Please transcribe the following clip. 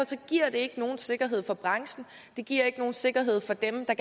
giver det ikke nogen sikkerhed for branchen det giver ikke nogen sikkerhed for dem der